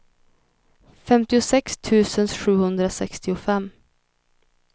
femtiosex tusen sjuhundrasextiofem